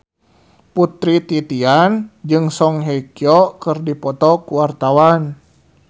Putri Titian jeung Song Hye Kyo keur dipoto ku wartawan